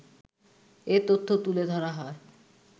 এ তথ্য তুলে ধরা হয়